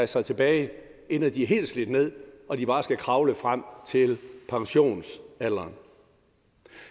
sig tilbage inden de er helt slidt ned og de bare skal kravle frem til pensionsalderen